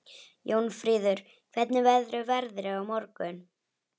Jónfríður, hvernig verður veðrið á morgun?